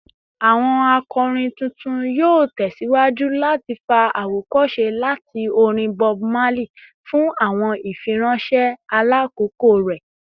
Awọn akọrin tuntun yoo tẹsiwaju lati fa awokose lati orin Bob Marley fun awọn ifiranṣẹ ailakoko rẹ